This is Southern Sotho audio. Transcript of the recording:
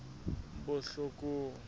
botlhokong